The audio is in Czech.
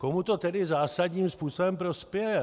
Komu to tedy zásadním způsobem prospěje?